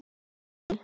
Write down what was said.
Hver á þig?